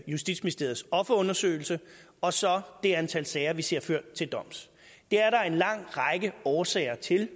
justitsministeriets offerundersøgelse og så det antal sager vi ser ført til doms det er der en lang række årsager til